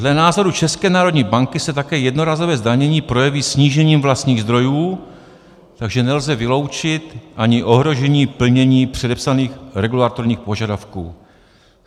Dle názoru České národní banky se také jednorázové zdanění projeví snížením vlastních zdrojů, takže nelze vyloučit ani ohrožení plnění předepsaných regulatorních požadavků.